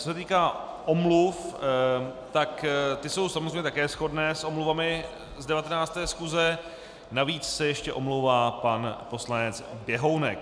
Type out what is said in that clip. Co se týká omluv, tak ty jsou samozřejmě také shodné s omluvami z 19. schůze, navíc se ještě omlouvá pan poslanec Běhounek.